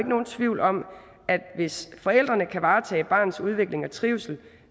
nogen tvivl om at hvis forældrene kan varetage barnets udvikling og trivsel